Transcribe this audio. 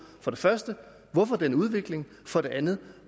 for det første hvorfor den udvikling for det andet